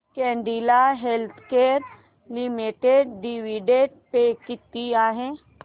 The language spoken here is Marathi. Cadila healthcare limited dividend pay किती आहे